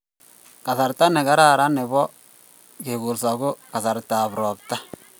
Kasarta ne karan nebo kekolso ko kasarta ab ropta